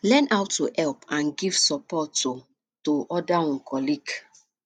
learn how to help and give support um to oda um colleague